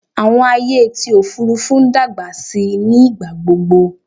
Àwọn ayé ti òfurufú ń dàgbà síi ní ìgbàgbogbo